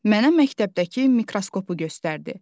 Mənə məktəbdəki mikroskopu göstərdi.